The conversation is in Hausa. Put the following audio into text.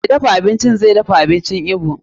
Mai dafa abincin zai dafa abincin Igbo.